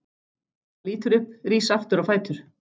Hann lítur upp, rís aftur á fætur.